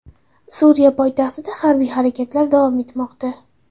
Suriya poytaxtida harbiy harakatlar davom etmoqda.